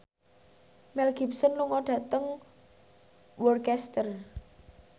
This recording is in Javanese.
Mel Gibson lunga dhateng Worcester